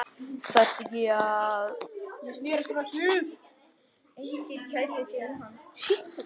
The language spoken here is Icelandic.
Þarftu ekki að.?